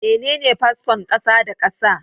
Mene fasfon kasa da kasa?